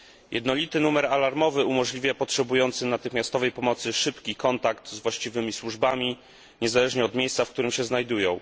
Jednolity numer alarmowy umożliwia potrzebującym natychmiastowej pomocy szybki kontakt z właściwymi służbami niezależnie od miejsca, w którym się znajdują.